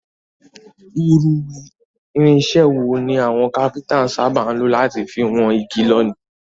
Irinsẹ́ wo ni àwon Kápẹ́ńtà sábà lo láti fi won igi lónìí?